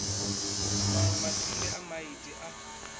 manwe matsinde a maiti a